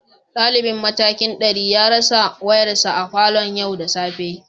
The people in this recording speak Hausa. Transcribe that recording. Dalibin matakin dari ya rasa wayarsa a falon yau da safe